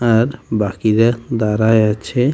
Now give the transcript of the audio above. আর বাকিদের দাঁড়ায় আছে .